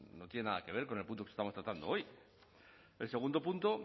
no tiene nada que ver con el punto que estamos tratando hoy el segundo punto